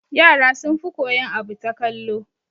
Yara sun fi koyan abu ta kallo